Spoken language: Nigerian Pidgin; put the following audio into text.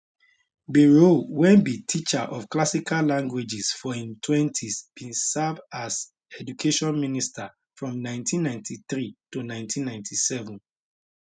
bayrou wey be teacher of classical languages for im 20s bin serve as education minister from 1993 to 1997